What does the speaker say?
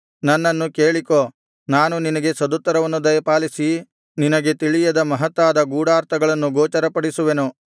ನನ್ನನ್ನು ಕೇಳಿಕೋ ನಾನು ನಿನಗೆ ಸದುತ್ತರವನ್ನು ದಯಪಾಲಿಸಿ ನಿನಗೆ ತಿಳಿಯದ ಮಹತ್ತಾದ ಗೂಢಾರ್ಥಗಳನ್ನು ಗೋಚರಪಡಿಸುವೆನು